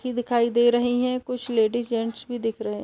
की दिखाई दे रहीं हैं कुछ लेडीज जेंट्स भी दिख रहें --